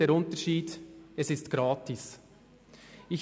Der Unterschied liegt darin, dass sie gratis ist.